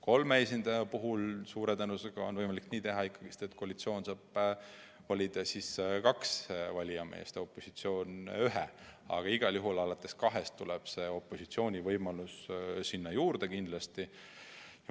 Kolme esindaja puhul on suure tõenäosusega võimalik teha ikkagi nii, et koalitsioon saab kaks valijameest ja opositsioon ühe, aga igal juhul alates kahest tuleb opositsiooni esindaja kindlasti juurde.